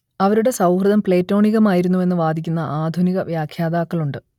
അവരുടെ സൗഹൃദം പ്ലേറ്റോണികമായിരുന്നുവെന്ന് വാദിക്കുന്ന ആധുനിക വ്യാഖ്യാതാക്കളുണ്ട്